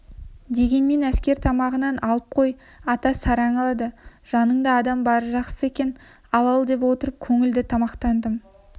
дегенмен әскер тамағынан алып қой ата сараң алады жаныңда адам бары жақсы екен ал-алдап отырып көңілді тамақтаңдым